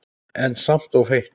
En samt ekki of heitt.